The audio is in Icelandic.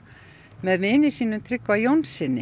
með vini sínum Tryggva Jónssyni